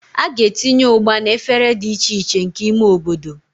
A ga-etinye Ugba na efere dị iche iche nke ime obodo.